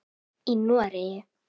Í Noregi